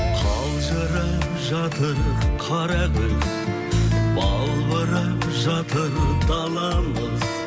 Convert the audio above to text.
қалжырап жатыр қара күз балбырап жатыр даламыз